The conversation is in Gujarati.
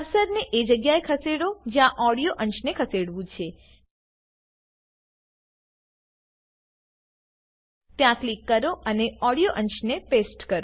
કર્સરને એ જગ્યાએ ખસેડો જ્યાં ઓડીયો અંશને ખસેડવું છે ત્યાં ક્લિક કરો અને ઓડીયો અંશને પેસ્ટ કરો